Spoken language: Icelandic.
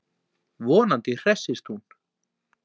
Vonandi hressist hún.